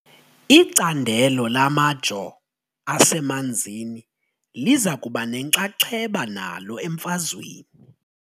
Icandelo lamajoo asemanzini liza kuba nenxaxheba nalo emfazweni .